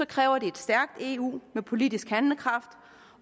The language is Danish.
kræver det et stærkt eu med politisk handlekraft